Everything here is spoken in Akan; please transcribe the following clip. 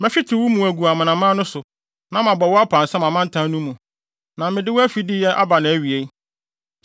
Mɛhwete wo mu agu amanaman no so, na mabɔ wo apansam amantam no mu; na mede wo afideyɛ aba nʼawie.